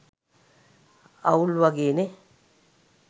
අවුල් වගේ නේ.